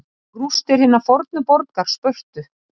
Rústir hinnar fornu borgar Spörtu.